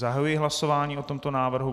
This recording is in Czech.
Zahajuji hlasování o tomto návrhu.